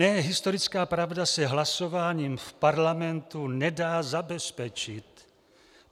Ne, historická pravda se hlasováním v parlamentu nedá zabezpečit.